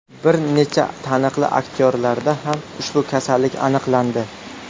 Bir necha taniqli aktyorlarda ham ushbu kasallik aniqlandi.